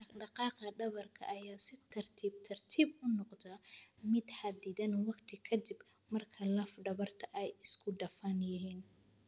Dhaqdhaqaaqa dhabarka ayaa si tartiib tartiib ah u noqda mid xaddidan waqti ka dib marka laf dhabarta ay isku dhafan yihiin.